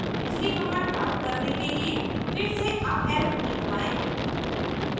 पिछली कमांड प्राप्त करने के लिए फिर से अप एरो की दबाएं